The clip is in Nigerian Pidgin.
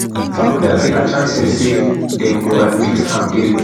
farkhunda say her chances say dem go admit am dey low